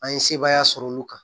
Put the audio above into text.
An ye sebaaya sɔrɔ olu kan